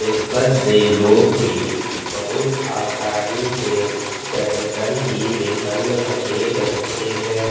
इस पर से लोग भी बहुत आसानी से चढ़कर ही लिकल रहे रहते हैं।